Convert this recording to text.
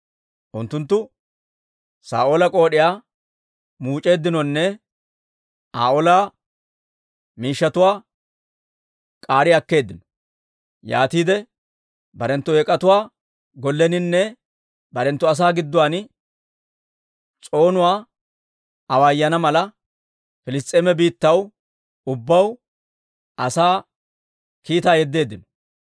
Unttunttu Saa'oola k'ood'iyaa muuc'eeddinonne Aa ola shaluwaa k'aari akkeeddino. Yaatiide barenttu Eek'atuwaa golleninne barenttu asaa gidduwaan s'oonuwaa awaayana mala, Piliss's'eema biittaw ubbaw asaa kiitaa yedeeddino.